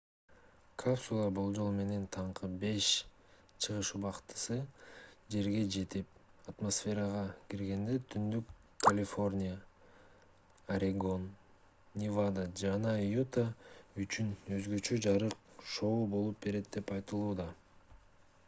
капсула болжол менен таңкы 5 чыгыш убактысы жерге жетип атмосферага киргенде түндүк калифорния орегон невада жана юта үчүн өзгөчө жарык шоу болуп берет деп айтылууда